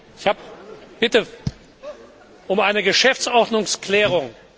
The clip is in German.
Ich bitte um eine Geschäftsordnungsklärung.